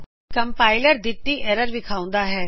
compiler ਹੇਠਾ ਦਿਤੀ error ਵਿਖਾਉਂਦਾ ਹੈ